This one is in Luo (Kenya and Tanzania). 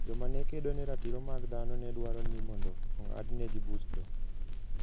Joma ne kedo ne ratiro mag dhano ne dwaro ni mondo ong'adnegi buch tho.